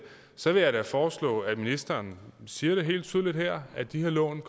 så vil jeg da foreslå at ministeren siger det helt tydeligt her at de her lån